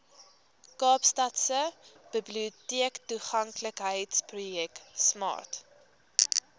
kaapstadse biblioteektoeganklikheidsprojek smart